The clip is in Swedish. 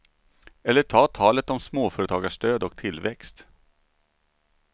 Eller ta talet om småföretagarstöd och tillväxt.